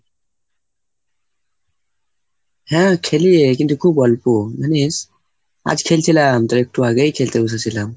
হ্যাঁ খেলি রে কিন্তু খুব অল্প জানিস. আজ খেলছিলাম, তোর একটু আগেই খেলতে বসেছিলাম।